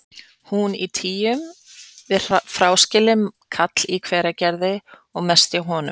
Hún í tygjum við fráskilinn kall í Hveragerði og mest hjá honum.